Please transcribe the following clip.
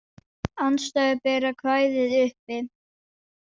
Andstæður bera kvæðið uppi.